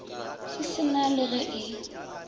se sena le ge e